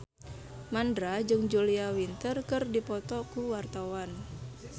Mandra jeung Julia Winter keur dipoto ku wartawan